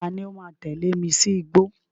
Ta ni ó ,máa tẹ̀lé mi sí igbó?